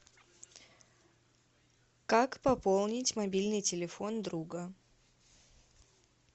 как пополнить мобильный телефон друга